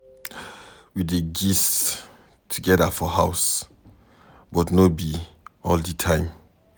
We dey gist together for house but no be all di time.